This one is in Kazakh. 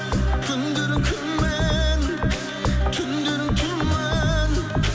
күндерің күмән түндерің тұман